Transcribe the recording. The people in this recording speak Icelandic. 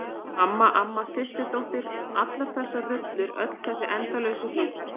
Mamma, amma, systir dóttir- allar þessar rullur, öll þessi endalausu hlutverk.